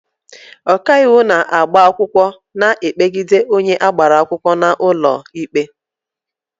Ọkaiwu na-agba akwụkwọ na-ekpegide onye agbara akwụkwọ n'ụlọ ikpe.